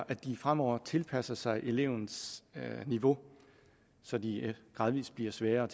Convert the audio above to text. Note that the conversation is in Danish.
at de fremover tilpasser sig elevens niveau så de gradvis bliver sværere